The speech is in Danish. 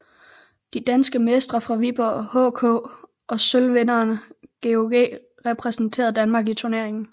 De danske mestre fra Viborg HK og sølvvinderne GOG repræsenterede Danmark i turneringen